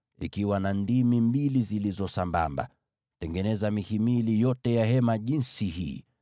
zikiwa na ndimi mbili zilizo sambamba kila mmoja na mwingine. Tengeneza mihimili yote ya maskani jinsi hii.